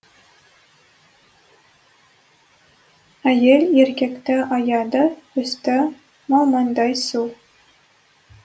әйел еркекті аяды үсті малмандай су